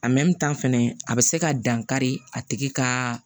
fɛnɛ a bɛ se ka dan kari a tigi ka